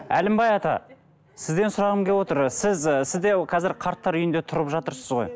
әлімбай ата сізден сұрағым келіп отыр сіз ы сіз де қазір қарттар үйінде тұрып жатырсыз ғой